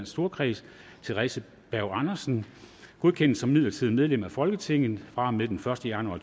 storkreds theresa berg andersen godkendes som midlertidigt medlem af folketinget fra og med den første januar